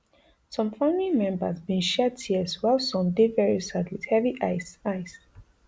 some family members bin shed tears while some dey very sad wit heavy eyes eyes